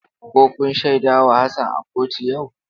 Ko kun shaida wa Hassan a kotu yau?